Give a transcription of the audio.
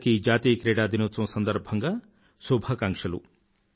అందరికీ జాతీయ క్రీడా దినోత్సవం సందర్భంగా శుభాకాంక్షలు